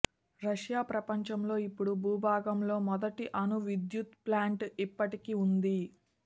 Russia ప్రపంచంలో ఇప్పుడు భూభాగంలో మొదటి అణు విద్యుత్ ప్లాంట్ ఇప్పటికీ ఉంది